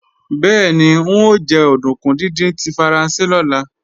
Bẹ́ẹ̀ni, n ó jẹ òdùnkún díndín tí Faransé lọ́la